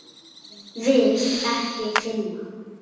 Vil ekki finna.